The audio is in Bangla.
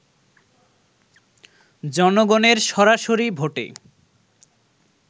জনগণের সরাসরি ভোটে